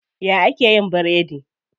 Ya ake yin biredi?